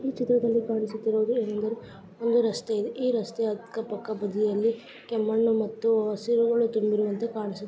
ಈ ಚಿತ್ರದಲ್ಲಿ ಕಾಣಿಸುತ್ತಿರುವುದು ಒಂದು ರಸ್ತೆ ಇದೆ. ಈ ರಸ್ತೆಯ ಅಕ್ಕಪಕ್ಕ ಬದಿಯಲ್ಲಿ ಕೆಂಮಣ್ಣು ಮತ್ತು ಹಸಿರುಗಳು ತುಂಬಿರುವುವಂತೆ ಕಾಣಿಸು--